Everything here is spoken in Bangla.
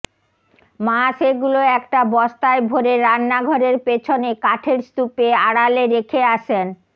মা সেগুলো একটা বস্তায় ভরে রান্নাঘরের পেছনে কাঠের স্তূপের আড়ালে রেখে আসেন